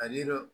A ni dɔ